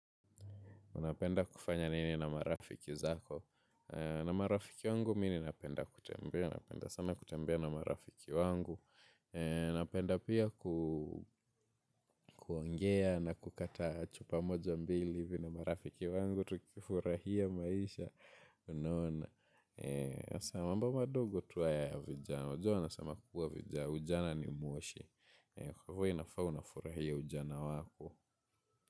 Unapenda kufanya nini na marafiki zako? Na marafiki wangu, mimi napenda kutembea. Napenda sana kutembea na marafiki wangu. Napenda pia kuongea na kukata chupa moja mbili hivi na marafiki wangu. Tukifurahia maisha unaona. Mambo madogo tu haya ya vijana. Wanasema kukua vijana. Ujana ni moshi. Kwahivyo inafaa unafurahia ujana wako.